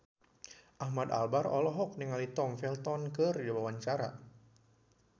Ahmad Albar olohok ningali Tom Felton keur diwawancara